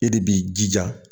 E de b'i jija